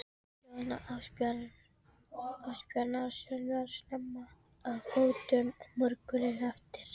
Jón Ásbjarnarson var snemma á fótum morguninn eftir.